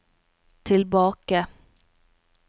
tilbake